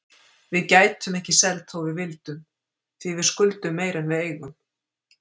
Við gætum ekki selt þó við vildum, því við skuldum meira en við eigum.